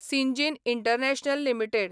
Syngene International limited